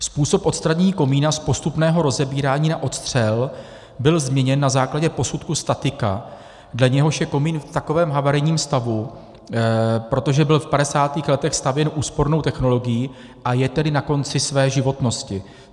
Způsob odstranění komína z postupného rozebírání na odstřel byl změněn na základě posudku statika, dle něhož je komín v takovém havarijním stavu, protože byl v 50. letech stavěn úspornou technologií, a je tedy na konci své životnosti.